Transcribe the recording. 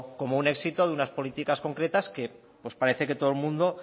como un éxito de unas políticas concretas que parece que todo el mundo